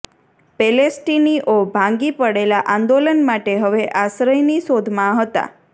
પેલેસ્ટીનીઓ ભાંગી પડેલા આંદોલન માટે હવે આશ્રયની શોધમાં હતા